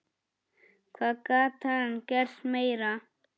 Hvað gat hann gert meira?